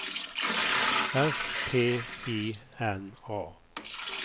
S T I N A